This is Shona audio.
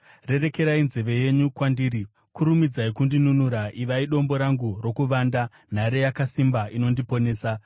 Rerekerai nzeve yenyu kwandiri, kurumidzai kundinunura; ivai dombo rangu rokuvanda, nhare yakasimba inondiponesa.